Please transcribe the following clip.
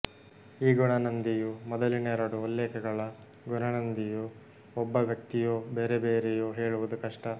ಈ ಗುಣನಂದಿಯೂ ಮೊದಲಿನೆರಡು ಉಲ್ಲೇಖಗಳ ಗುಣನಂದಿಯೂ ಒಬ್ಬ ವ್ಯಕ್ತಿಯೋ ಬೇರೆಬೇರೆಯೋ ಹೇಳುವುದು ಕಷ್ಟ